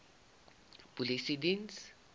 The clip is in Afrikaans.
polisiediens